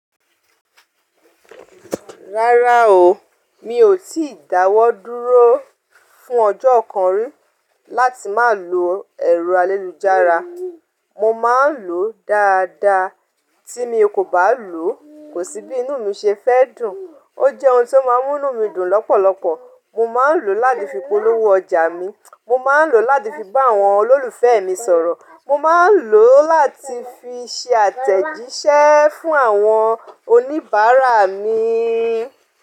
Rárá o, mi ò tíì dáwọ́ dúró fún ọjọ́ kan rí láti má lo ẹ̀rọ ayélujára. Mo má ń lò ó dáadáa, tí mi kò bá lò, kò sí bí inú mi ṣe fẹ́ dùn. O jẹ́ ohun tó má ń mú inú mi dùn lọ́pọ̀lọpọ̀. Mo má ń lò ó láti fi polówó ọjà mi, mo má ń lò ó láti fi bá àwọn olólùfẹ́ mi sọ̀rọ̀, mo má ń lò ó láti fi ṣe àtẹ̀jíṣẹ́ fún àwọn oníbàárà mi.